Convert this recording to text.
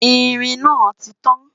ìrìn nà títàn